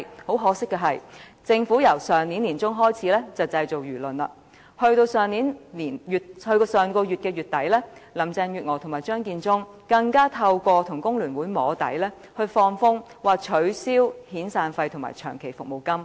很可借，政府由上年年中開始製造輿論，到了上月底，林鄭月娥和張建宗更透過與工聯會"摸底"，放風要取消遣散費和長期服務金。